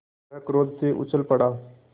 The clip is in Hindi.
वह क्रोध से उछल पड़ा